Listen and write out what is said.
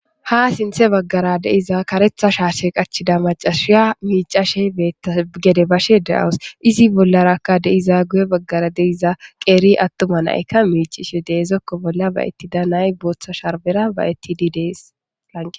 Ha sinththe baggara diza kareththa shaashe qachchiza maccassiya miicashe betay gede bash de7awus. Izi bllaraka de7iza goye bagaraka de7iza qeeri atuma na7aykka miiccishe de7iza zokko bollan ba7etida na7ay booththa shrbbera ba7etidi de7eeslanqqen.